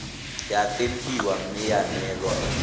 ya tempiwa mme ya neelwa